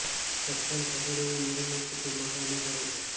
સસ્તન ખસેડવું ઉંદરોને એક કુટુંબ માટે અનુસરે છે